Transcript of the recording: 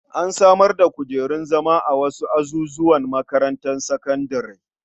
An samar da kujerun zama a wasu azuzuwan makarantar sakandare.